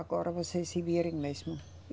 Agora vocês se virem mesmo.